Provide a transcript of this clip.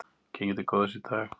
Gengið til góðs í dag